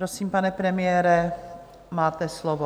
Prosím, pane premiére, máte slovo.